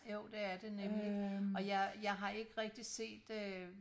Jo det er det nemlig og jeg jeg har ikke rigtig set øh